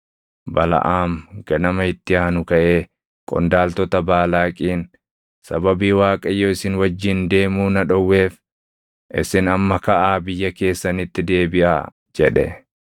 Balaʼaam ganama itti aanu kaʼee qondaaltota Baalaaqiin, “Sababii Waaqayyo isin wajjin deemuu na dhowweef, isin amma kaʼaa biyya keessanitti deebiʼaa” jedhe.